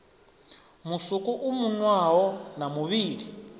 musuku u munwaho na muvhili